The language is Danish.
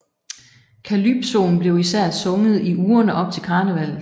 Calypsoen blev især sunget i ugerne op til karnevallet